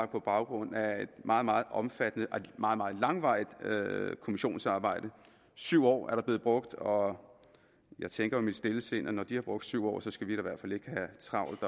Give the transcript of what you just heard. på baggrund af et meget meget omfattende og meget meget langvarigt kommissionsarbejde syv år er der blevet brugt og jeg tænker i mit stille sind at når de har brugt syv år skal vi da i hvert fald ikke have travlt